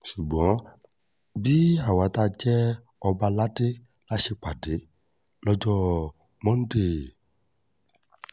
ṣùgbọ́n bí àwa tá a jẹ́ ọba aládé la ṣèpàdé lọ́jọ́ monde